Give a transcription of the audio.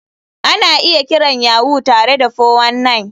Ana iya kiran Yahoo tare da 419.